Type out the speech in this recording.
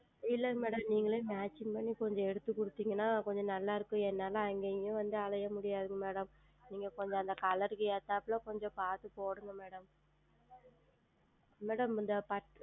இல்லை Madam நீங்களே Matching செய்து கொஞ்சம் எடுத்து கொடுத்தீர்கள் என்றால் கொஞ்சம் நன்றாக இருக்கும் என்னால் அங்கயும் இங்கயும் வந்து அலைய முடியாது Madam நீங்கள் கொஞ்சம் அந்த Color க்கு ஏற்றபடி கொஞ்சம் பார்த்து போடுங்கள் Madam Madam இந்த பட்டு